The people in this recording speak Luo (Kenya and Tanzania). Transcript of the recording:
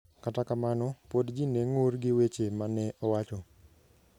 Kata kamano, pod ji ne ng'ur gi weche ma ne owacho.